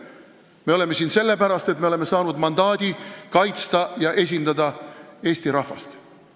Me oleme siin sellepärast, et me oleme saanud mandaadi kaitsta ja esindada Eesti rahvast.